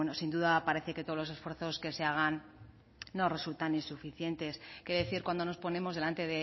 sin duda parece que todos los esfuerzos que se hagan nos resultan insuficientes qué decir cuando nos ponemos delante